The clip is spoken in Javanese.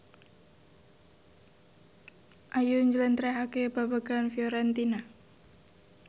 Ayu njlentrehake babagan Fiorentina